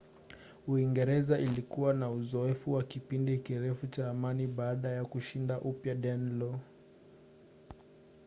uingereza ilikuwa na uzoefu wa kipindi kirefu cha amani baada ya kushinda upya danelaw